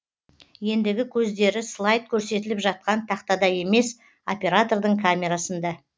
ендігі көздері слайд көрсетіліп жатқан тақтада емес оператордың камерасында